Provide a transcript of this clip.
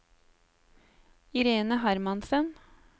Irene Hermansen